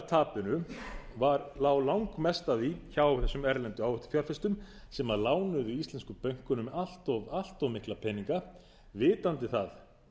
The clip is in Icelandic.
en af heildartapinu lá langmest af því hjá þessum erlendu áhættufjárfestum sem lánuðu íslensku bönkunum allt of mikla peninga vitandi það